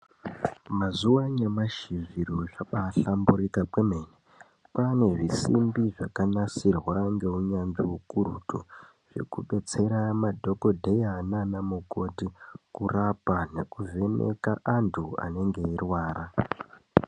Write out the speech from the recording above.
Mazuwa anyamashi zviro zvaba hlamburuka kwene kwanezvisimbi zvakanasirwa ngeunyanzvi ukurutu zvekudetsera madhokodheya nanamukoti kurapa nekuvheneka antu anenge eirwara.